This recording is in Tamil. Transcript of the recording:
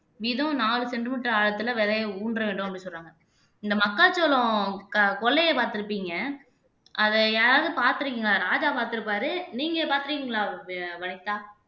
வீதம் நாலு சென்டிமீட்டர் ஆழத்துல விதைய ஊன்ற வேண்டும் அப்படின்னு சொல்றாங்க இந்த மக்காச்சோளம் க கொள்ளையை பார்த்திருப்பீங்க அதை யாராவது பார்த்திருக்கீங்களா ராஜா பார்த்திருப்பாரு நீங்க பார்த்திருக்கீங்களா வ வனிதா